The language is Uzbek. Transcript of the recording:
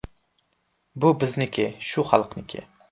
Bu bizniki, shu xalqniki.